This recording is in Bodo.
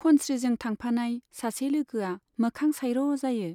खनस्रीजों थांफानाय सासे लोगोआ मोखां साइर' जायो।